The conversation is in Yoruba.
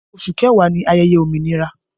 Oṣù kẹwàá ni ayẹyẹ òmìnira